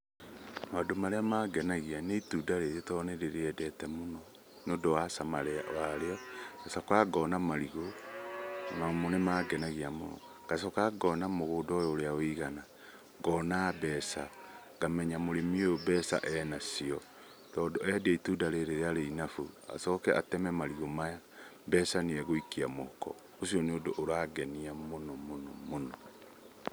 Maũndũ marĩa mangenagia ni itunda rĩrĩ tondũ nĩ ndĩrĩendete mũno nĩundũ wa cama warĩo. Ngacoka ngona marigu. Ona mo nĩmangenagia mũno. Ngacoka ngona mũgũnda ũyũ ũrĩa ũigana, ngona mbeca, ngamenya mũrĩmi ũyũ mbeca enacio tondũ endia itunda rĩrĩ ria bainabũ , acoke ateme marigũ maya, mbeca nĩegũikia mũhuko. Ũcio nĩ ũndũ ũrangenia mũno mũno mũno.